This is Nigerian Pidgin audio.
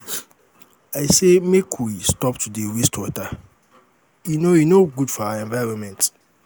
i say make we stop dey waste water e no e no good for our environment.